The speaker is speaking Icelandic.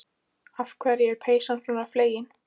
Af hverju er peysan svona flegin?